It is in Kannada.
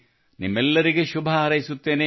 ನಿಮ್ಮೆಲ್ಲರಿಗೆ ಶುಭ ಹಾರೈಸುತ್ತೇನೆ